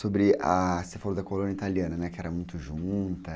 Sobre... a... Você falou da colônia italiana, né, que era muito junta...